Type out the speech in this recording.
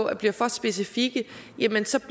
af bliver for specifikke jamen så